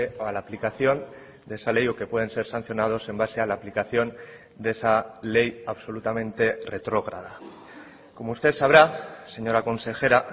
a la aplicación de esa ley o que pueden ser sancionados en base a la aplicación de esa ley absolutamente retrógrada como usted sabrá señora consejera